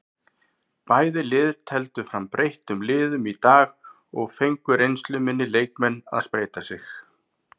Bæði lið tefldu fram breyttum liðum í dag og fengu reynsluminni leikmenn að spreyta sig.